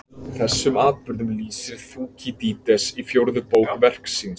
Þessum atburðum lýsir Þúkýdídes í fjórðu bók verks síns.